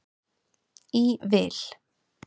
í vil.